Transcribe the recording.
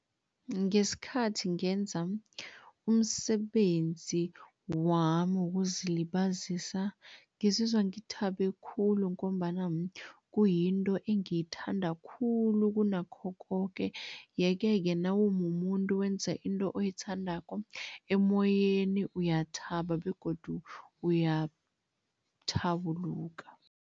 Ngesikhathi ngenza umsebenzi wami wokuzilibazisa, ngizizwa ngithabe khulu ngombana kuyinto engiyithanda khulu kunakho koke yeke-ke nawumumuntu wenza into oyithandako, emoyeni uyathaba begodu uyathabuluka.